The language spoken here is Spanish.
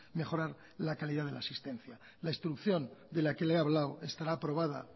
mejorar la calidad de las asistencia la instrucción de la que le he hablado estará aprobada